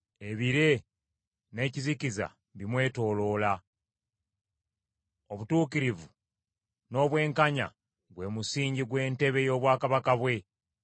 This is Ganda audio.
Ebire n’ekizikiza bimwetooloola; obutuukirivu n’obwenkanya gwe musingi gw’entebe y’obwakabaka bwe.